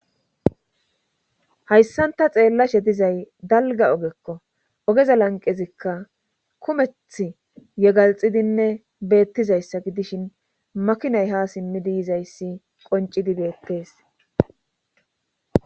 hayssanta xeellashe dizay dalga ogekko ogeza lanqezikka kumeth yegalxidinne beettizayssa gidishin makinay ha simmi diizayssi qoncidi beettees